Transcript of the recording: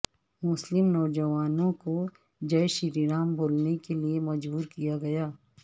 مسلم نوجوان کو جئے شری رام بولنے کیلئے مجبور کیا گیا